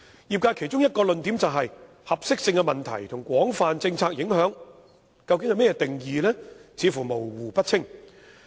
業界其中一項論點，是"合適性問題"及"廣泛政策影響"的定義為何，認為模糊不清。